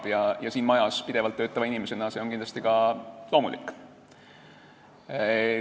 Kuna te olete siin majas pidevalt töötav inimene, on see kindlasti ka loomulik.